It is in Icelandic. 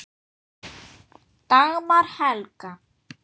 Dagmar Helga.